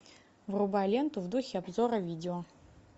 врубай ленту в духе обзора видео